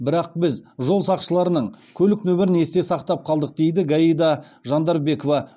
бірақ біз жол сақшыларының көлік нөмірін есте сақтап қалдық дейді гайда жандарбекова